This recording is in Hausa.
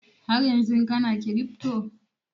Haryanzun kana kiripto?